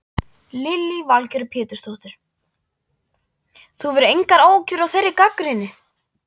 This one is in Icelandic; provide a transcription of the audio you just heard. Lillý Valgerður Pétursdóttir: Þú hefur engar áhyggjur af þeirri gagnrýni?